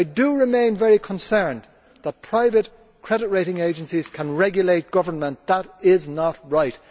I remain very concerned that private credit rating agencies can regulate government that is not right.